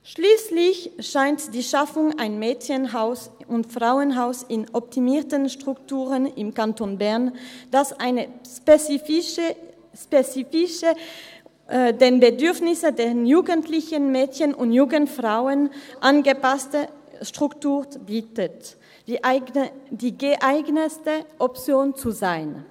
Schliesslich scheint die Schaffung eines Mädchen- und Frauenhauses in optimierten Strukturen im Kanton Bern, das eine spezifische, den Bedürfnissen der jugendlichen Mädchen und jungen Frauen angepasste Struktur bietet, die geeignetste Option zu sein.